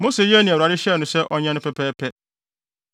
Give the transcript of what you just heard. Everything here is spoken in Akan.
Mose yɛɛ nea Awurade hyɛɛ no sɛ ɔnyɛ no pɛpɛɛpɛ.